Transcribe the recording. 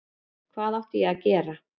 Hvað átti ég að gera?